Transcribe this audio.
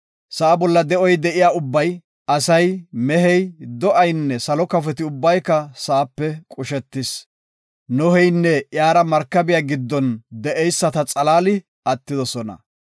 Sa7a bolla de7oy de7iya ubbay, asay, mehey, do7aynne salo kafoti ubbay sa7ape qushetidosona. Noheynne iyara markabiya giddon de7eyisata xalaali attidosona.